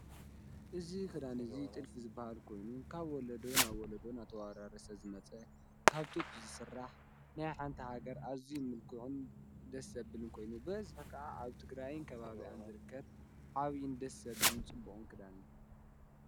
እዙ ኽዳን እዙይ ጥልፊ ዝበሃል ኮይኑ ካብ ወለዶ ናብ ወለዶ ናተዋራርሰ ዝመጸ ካብጡት ዝሠራሕ ናይ ሓንቲ ሃገር ኣዙይ ምልክዕን ደሰብልን ኮይኑ በዝፈከዓ ኣብ ቲ ግራይን ከባብኣን ዘርከት ዓብይን ደሰዝብልን ጽቡቕን ክዳንን እዩ ::